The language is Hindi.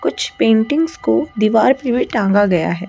कुछ पेंटिंग्स को दीवार पे भी टांगा गया है।